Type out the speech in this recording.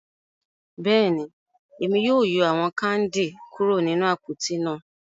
Bẹ́ẹ̀ni, Emi yóò yọ awọn kandi kuro ninu apoti náà